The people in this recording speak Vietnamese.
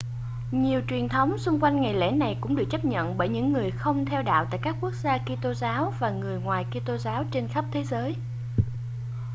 nhiều truyền thống xung quanh ngày lễ này cũng được chấp nhận bởi những người không theo đạo tại các quốc gia kitô giáo và người ngoài kitô giáo trên khắp thế giới